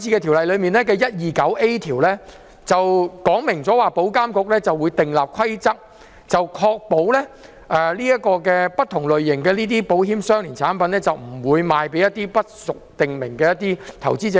條例草案第 129A 條說明，保險業監管局會訂立規則，確保不同類形的保險相連產品不會售予一些不屬訂明範圍的投資者。